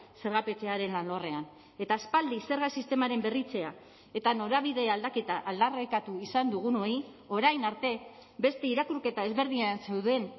zergapetzearen alorrean eta aspaldi zerga sistemaren berritzea eta norabide aldaketa aldarrikatu izan dugunoi orain arte beste irakurketa ezberdina zeuden